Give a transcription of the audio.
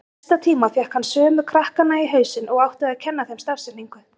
Í næsta tíma fékk hann sömu krakkana í hausinn og átti að kenna þeim stafsetningu.